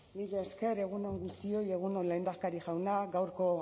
mila esker egun on guztioi egun on lehendakari jauna gaurko